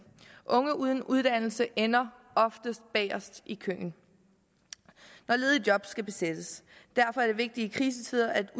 unge uden uddannelse ender oftest bagest i køen når ledige job skal besættes derfor er det vigtigt i krisetider at